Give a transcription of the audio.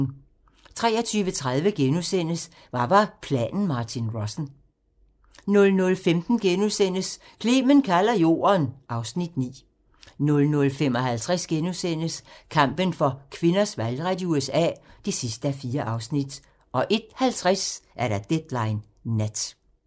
23:30: Hvad var planen Martin Rossen? * 00:15: Clement kalder Jorden (Afs. 9)* 00:55: Kampen for kvinders valgret i USA (4:4)* 01:50: Deadline Nat